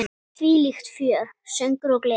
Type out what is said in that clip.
Þvílíkt fjör, söngur og gleði.